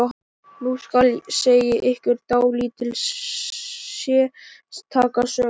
Nú skal segja ykkur dálítið sérstaka sögu.